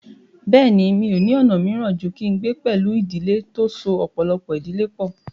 Bẹ́ẹ̀ni, mi ò ní ọ̀nà míràn ju kí n gbé pẹ̀lú ìdílé tó so ọ̀pọ̀lọpọ̀ ìdílé pọ̀